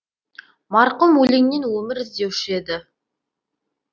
марқұм өлеңнен өмір іздеуші еді